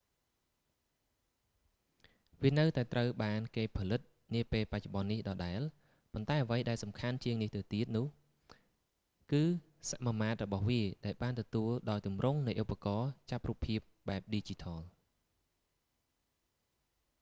វានៅតែត្រូវបានគេផលិតនាពេលបច្ចុប្បន្ននេះដដែល ប៉ុន្តែអ្វីដែលសំខាន់ជាងនេះទៀតនោះ គឺសមាមាត្ររបស់វាដែលបានទទួលដោយទម្រង់នៃឧបករណ៏ចាប់រូបភាពបែបឌីជីថល